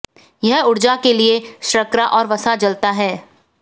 यह ऊर्जा के लिए शर्करा और वसा जलता है